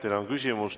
Teile on küsimus.